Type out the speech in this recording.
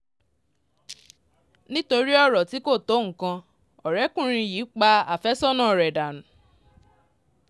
nítorí ọ̀rọ̀ tí kò tó nǹkan ọ̀rẹ́kùnrin yìí pa àfẹ́sọ́nà rẹ̀ dànù